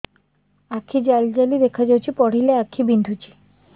ଆଖି ଜାଲି ଜାଲି ଦେଖାଯାଉଛି ପଢିଲେ ଆଖି ବିନ୍ଧୁଛି